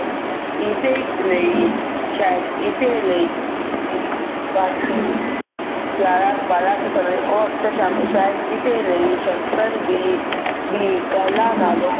ਇਸੇ ਲਈ ਸ਼ਾਇਦ ਇਸੇ ਲਈ ਗਿਆਰਾਂ ਬਾਰਾਂ ਕੁ ਸਾਲਾਂ ਦੇ ਉਹ ਅਕਸਰ ਸ਼ਾਮ ਸ਼ਾਇਦ ਇਸੇ ਲਈ ਸ਼ੰਕਰ ਵੀ ਬੀ ਪਹਿਲਾਂ ਨਾਲੋਂ